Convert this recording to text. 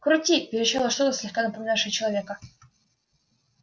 крути верещало что-то слегка напоминавшее человека